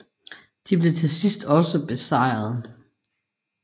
De blev til sidst også besejret